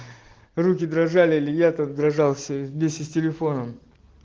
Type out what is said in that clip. руки дрожали лет отображался вместе с телефоном